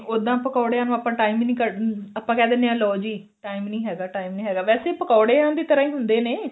ਉਦਾਂ ਆਪਾਂ ਪਕੋੜਿਆ ਨੂੰ time ਹੀ ਨੀ ਕੱਢ ਆਪਾਂ ਕਿਹ ਦਿੰਦੇ ਆ ਲਓ ਜੀ time ਨੀ ਹੈਗਾ time ਨੀ ਹੈਗਾ ਵੈਸੇ ਪਕੋੜਿਆ ਦੀ ਤਰ੍ਹਾਂ ਈ ਹੁੰਦੇ ਨੇ